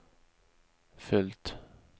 följt